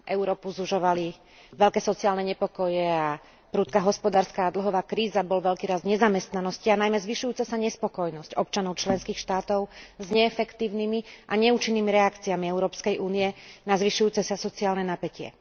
Európu sužovali veľké sociálne nepokoje a prudká hospodárska a dlhová kríza, bol veľký rast nezamestnanosti a najmä zvyšujúca sa nespokojnosť občanov členských štátov s neefektívnymi a neúčinnými reakciami EÚ na zvyšujúce sa sociálne napätie.